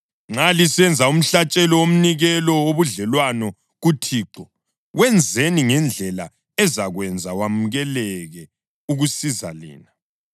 Nxa lisenza umhlatshelo womnikelo wobudlelwano kuThixo, wenzeni ngendlela ezakwenza wamukeleke ukusiza lina.